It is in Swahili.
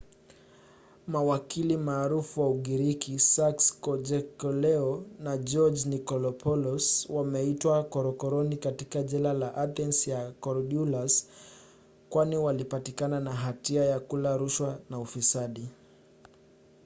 mawakili maarufu wa ugiriki sakis kechagiogluo na george nikolakopoulos wametiwa korokoroni katika jela ya athens ya korydallus kwani walipatikana na hatia ya kula rushwa na ufisadi